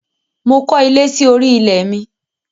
Mo kọ́ ilé sí orí ilẹ̀ mi.